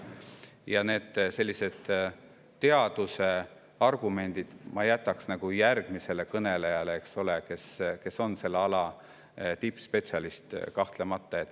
Ja teadusargumendid jätaks ma järgmisele kõnelejale, kes on kahtlemata selle ala tippspetsialist.